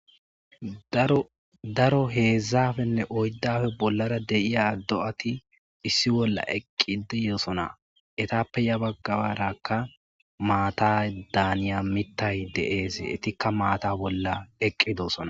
daro heedzzafenne oyddafe bollara deiya do7ati issi bolla eqqideyoosona etappe ya baggabarakka maata daaniya mittay deees etikka maata bolla eqqidosona